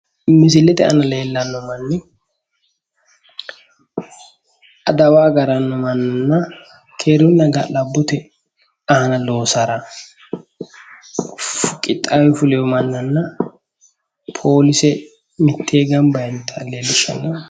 Misilete aana leellanno manni adawa agaranno mannanna keerunna ga'labbote aana loosara qixxaawe fuleyo mannanna polise mittee gamba yiinota leellishshanno.